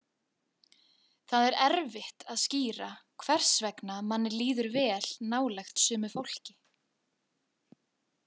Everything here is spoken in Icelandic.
Það er erfitt að skýra hvers vegna manni líður vel nálægt sumu fólki.